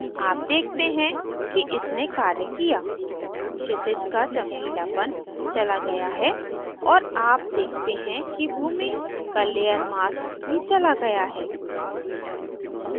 आप देखते हैं इसने कार्य किया क्षितिज का चमकीलापन चला गया है और आप देखते हैं कि भूमि का layer mask भी चला गया है